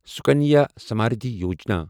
Sukanya Samriddhi Yojana